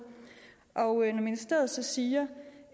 og når ministeriet så siger